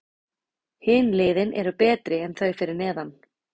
Hin liðin eru betri en þau fyrir neðan.